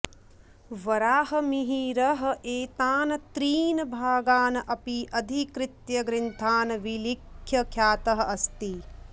वराहमिहिरः एतान् त्रीन् भागान् अपि अधिकृत्य ग्रन्थान् विलिख्य ख्यातः अस्ति